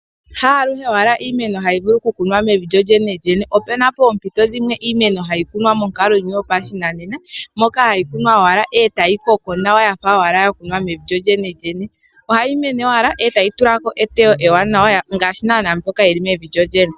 Haaluhe wala iimeno hayi kunwa mevi lyolyene opena poompito dhimwe iimeno hayi kunwa monkalo yimwe yopashinanena moka hayi kunwa mo owala etayi koko wala yafa owala yakunwa mevi lyolyene ohayi mene owala etayi tula ko eteyo ewanawa ngaashi naanaa iimeno mbyoka ya kunwa mevi lyo lyene.